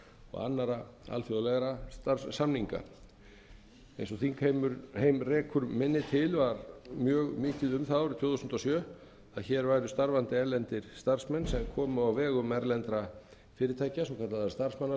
og annarra alþjóðlegra starfssamninga eins og þingheim rekur minni til var mjög mikið um það árið tvö þúsund og sjö að hér væru starfandi erlendir starfsmenn sem komu á vegum erlendra fyrirtækja svokallaðra